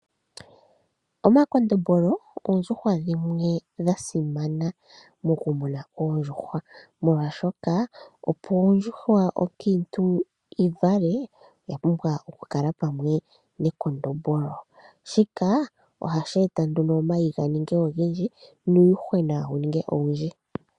Omakondombolo oondjuhwa dhimwe dha simana moku muna oondjuhwa molwaashoka opo ondjuhwa onkiintu yi vale oya pumbwa okukala pamwe nekondombolo, shika ohashi eta nduno omayi ga ninge ogendji nuuyuhwena wu ninge owundji.